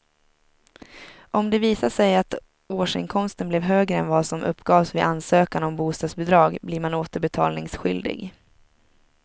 Om det visar sig att årsinkomsten blev högre än vad som uppgavs vid ansökan om bostadsbidrag blir man återbetalningsskyldig.